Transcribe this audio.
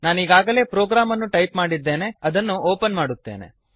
ನಾನೀಗಾಗಲೇ program ಅನ್ನು type ಮಾಡಿದ್ದೇನೆ ಅದನ್ನು ಒಪನ್ ಮಾಡುತ್ತೇನೆ